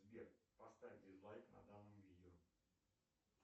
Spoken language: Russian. сбер поставь дизлайк на данном видео